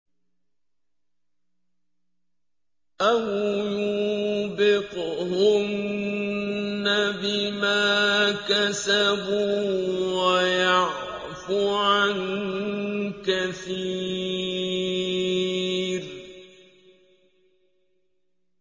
أَوْ يُوبِقْهُنَّ بِمَا كَسَبُوا وَيَعْفُ عَن كَثِيرٍ